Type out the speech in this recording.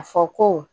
A fɔ ko